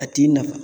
A t'i nafa